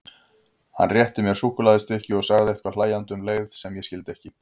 Hann rétti mér súkkulaðistykki og sagði eitthvað hlæjandi um leið sem ég skildi ekki.